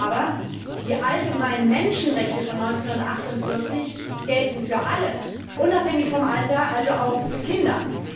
Aber die allgemeinen Menschenrechte von 1948 gelten für alle, unabhängig vom Alter, also auch für Kinder.